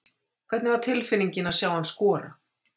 Hvernig var tilfinningin að sjá hann skora?